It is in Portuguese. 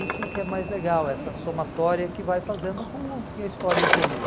Isso que é mais legal, essa somatória que vai fazendo com que a história evolua.